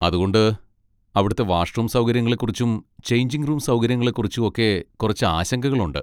അതുകൊണ്ട്, അവിടുത്തെ വാഷ്റൂം സൗകര്യങ്ങളെ കുറിച്ചും ചെയ്ഞ്ചിങ് റൂം സൗകര്യങ്ങളെ കുറിച്ചും ഒക്കെ കുറച്ച് ആശങ്കകൾ ഉണ്ട്.